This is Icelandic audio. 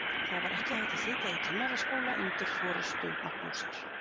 Það var ekki hægt að sitja í kennaraskóla undir forystu Magnúsar